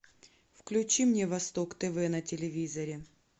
включи мне восток тв на телевизоре